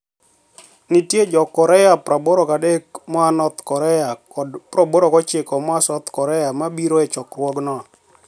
niitie Jo-Korea 83 moa north Korea kod 89 moa South Korea ma biro e chokruogno.